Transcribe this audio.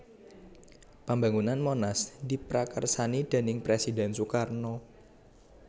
Pambangunan Monas diprakarsani déning Presiden Soekarno